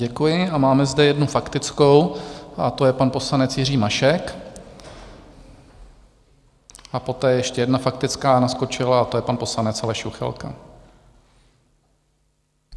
Děkuji a máme zde jednu faktickou a to je pan poslanec Jiří Mašek, a poté ještě jedna faktická naskočila a to je pan poslanec Aleš Juchelka.